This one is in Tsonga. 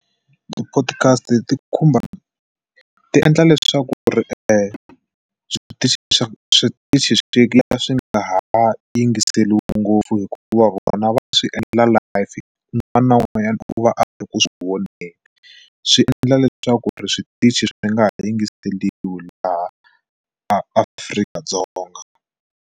Ti-podcast ti khumba tiendla leswaku eswitichi leswaku switichi swi kula swi nga ha yingiseriwi ngopfu hikuva vona va swi endla live wun'wana na wun'wanyana u va a ku swi voneni swi endla leswaku ri switichi swi nga ha yingiseriwi laha Afrika-Dzonga.